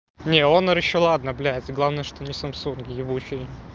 не онор ещё ладно блять главное что не самсунг ебучий